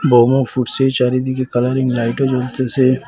বোমও ফুটসে চারিদিকে কালারিং লাইটও জ্বলতেসে।